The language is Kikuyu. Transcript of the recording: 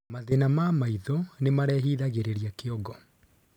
Mathin ma maĩ tho nimarehithagirirĩa kĩongo